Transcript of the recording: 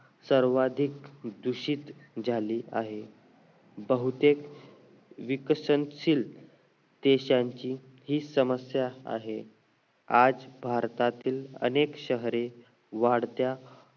सर्वाधिक दूषित झाली आहे बहुतेक विकसनशील देशांची ही समस्या आहे आज भारतातील अनेक शहरे वाढत्या